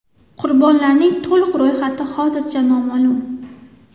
Qurbonlarning to‘liq ro‘yxati hozircha noma’lum.